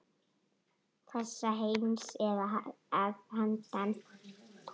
Þessa heims eða að handan.